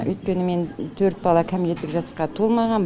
өйткені менің төрт бала кәмелеттік жасқа толмаған